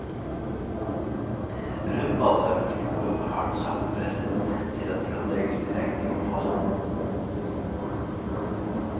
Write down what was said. Rundballer er for store og for hardt sammenpresset til at de kan legges direkte i komposten.